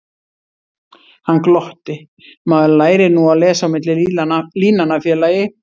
Hann glotti: Maður lærir nú að lesa á milli línanna, félagi